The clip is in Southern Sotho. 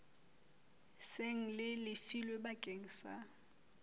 seng le lefilwe bakeng sa